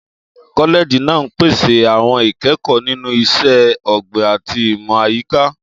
Kọ́lẹ́ẹ̀jì náà ń pèsè àwọn ìkẹ́kọ̀ọ́ nínú Iṣẹ́ Ọ̀gbìn àti Ìmọ̀ Àyíká.